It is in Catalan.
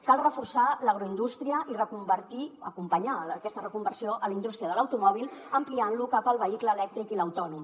cal reforçar l’agroindústria i acompanyar aquesta reconversió a la indústria de l’automòbil ampliant la cap al vehicle elèctric i l’autònom